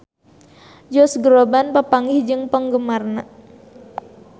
Josh Groban papanggih jeung penggemarna